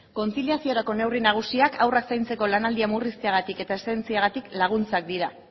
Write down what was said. kontziliaziorako neurri nagusiak haurrak zaintzeko lanaldia murrizteagatik eta eszedentziagatik laguntzak dira